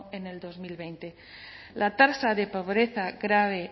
en bi mila hogei la tasa de pobreza grave